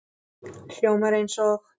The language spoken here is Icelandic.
Hljómar eins og